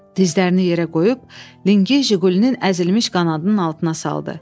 Dizlərini yerə qoyub, lingi Jiqulinin əzilmiş qanadının altına saldı.